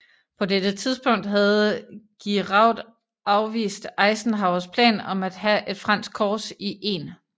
På dette tidspunkt havde Giraud afvist Eisenhowers plan om at have et fransk korps i 1